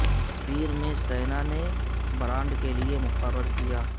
تصویر میں سینا نے برانڈ کے لئے مقرر کیا